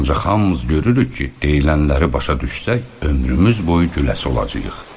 Ancaq hamımız görürük ki, deyilənləri başa düşsək, ömrümüz boyu güləsi olacağıq.